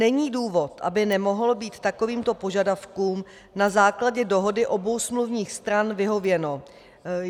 Není důvod, aby nemohlo být takovýmto požadavkům na základě dohody obou smluvních stran vyhověno.